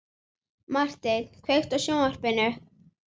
Marteinn, kveiktu á sjónvarpinu.